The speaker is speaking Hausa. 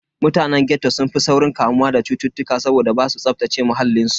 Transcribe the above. Mutanen ghetto sun fi saurin kamuwa da cutuka saboda basu tsaftace muhallin su.